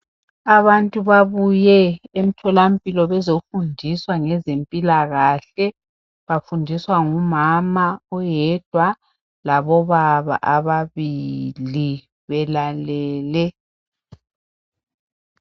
Abantu babuye emtholampilo bezofundiswa ngezempilakahle bafundiswa ngumama oyedwa labobaba ababili belalele.